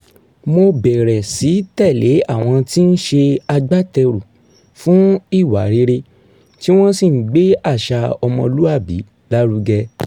mo bẹ̀rẹ̀ sí tẹ̀lé àwọn tí ń s̩e agbáte̩rù fún ìwà rere tí wo̩n sì ń gbé àṣà o̩mo̩lúwàbí lárugẹ